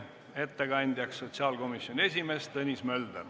Ettekandja on sotsiaalkomisjoni esimees Tõnis Mölder.